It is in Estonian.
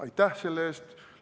Aitäh selle eest!